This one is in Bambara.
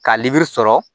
Ka libiri sɔrɔ